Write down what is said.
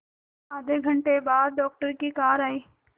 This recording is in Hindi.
आधे घंटे बाद डॉक्टर की कार आई